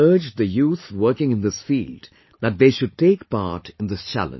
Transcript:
I urge the youth working in this field, that they should take part in this challenge